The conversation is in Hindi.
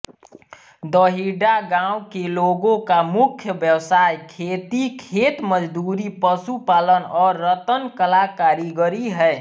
दहींडा गाँव के लोगों का मुख्य व्यवसाय खेती खेतमजदूरी पशुपालन और रत्नकला कारीगरी है